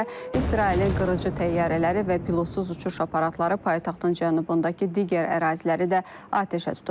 Bundan əlavə, İsrailin qırıcı təyyarələri və pilotsuz uçuş aparatları paytaxtın cənubundakı digər əraziləri də atəşə tutub.